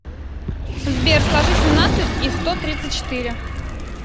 сбер сложи семнадцать и сто тридцать четыре